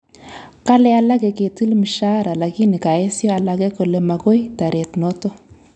Kale alake ketil mshahara lakini kaesyo alege kole magoi taret noto